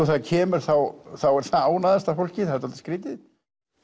það kemur þá er það ánægðasta fólkið það er dálítið skrítið